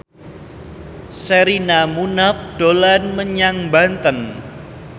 Sherina Munaf dolan menyang Banten